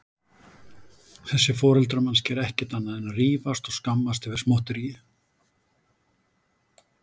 Þessir foreldrar manns gera ekkert annað en rífast og skammast yfir smotteríi.